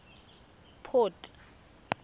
port